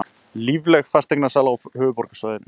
Lífleg fasteignasala á höfuðborgarsvæðinu